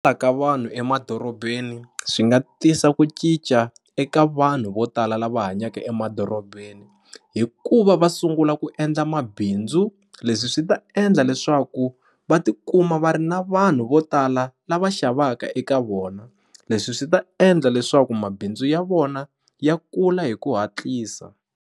vanhu emadorobeni swi nga tisa ku cinca eka vanhu vo tala lava hanyaka emadorobeni hikuva va sungula ku endla mabindzu leswi swi ta endla leswaku va tikuma va ri na vanhu vo tala lava xavaka eka vona leswi swi ta endla leswaku mabindzu ya vona ya kula hi ku hatlisa.